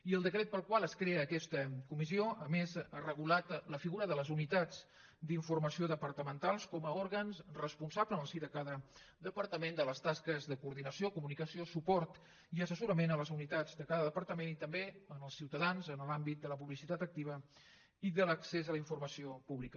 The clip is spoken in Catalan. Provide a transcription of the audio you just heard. i el decret pel qual es crea aquesta comissió a més ha regulat la figura de les unitats d’informació departamentals com a òrgans responsables en el si de cada departament de les tasques de coordinació comunicació suport i assessorament a les unitats de cada departament i també als ciutadans en l’àmbit de la publicitat activa i de l’accés a la informació pública